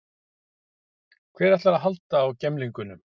Hver ætlar að halda á gemlingnum?